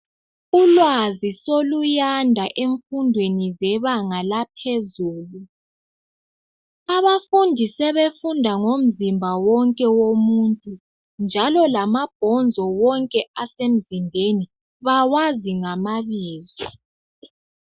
Ulwazi soluyanda , emfundweni yebanga laphezulu. Abafundi, sebefunda ngomzimba wonke womuntu, njalo lamabhonzo, wonke asemzimbeni, bawazi ngamabizo.